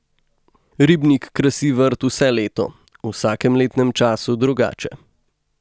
Ribnik krasi vrt vse leto, v vsakem letnem času drugače.